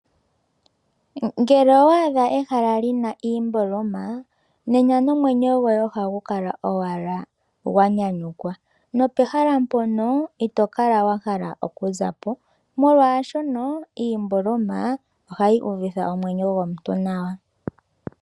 Ngele owa adha ehala li na iimboloma, nena nomwenyo gwoye oha gu kala owala gwa nyanyukwa, nopehala mpono ito kala wa hala okuzapo molwaashono iimboloma, oha yi uvitha omwenyo gwomuntu nawa.